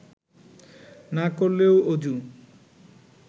না করলেও অযু